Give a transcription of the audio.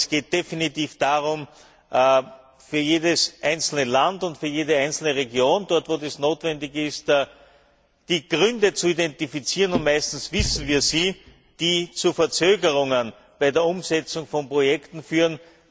Es geht definitiv darum, für jedes einzelne Land und für jede einzelne Region, dort, wo es notwendig ist, die Gründe zu identifizieren meistens kennen wir sie die zu Verzögerungen bei der Umsetzung von Projekten führen.